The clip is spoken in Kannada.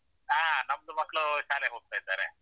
ಹಾ ನಮ್ದು ಮಕ್ಕಳು ಶಾಲೆಗೆ ಹೋಗ್ತಾ ಇದ್ದಾರೆ.